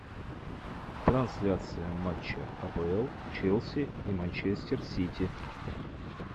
трансляция матча апл челси и манчестер сити